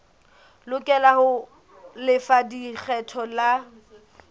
lokela ho lefa lekgetho la